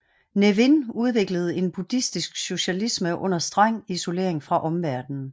Ne Win udviklede en buddhistisk socialisme under streng isolering fra omverdenen